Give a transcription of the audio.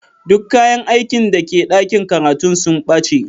Duk kayan aikin da ke dakin karatun sun bace.